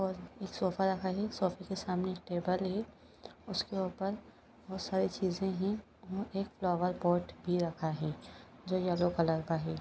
और एक सोफा रखा है सोफे के सामने एक टेबल है उसके ऊपर बहुत सारी चीजे है और एक फ्लोवर पॉट भी रखा है जो येलो कलर का है।